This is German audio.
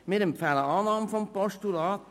Wir empfehlen Annahme des Postulats.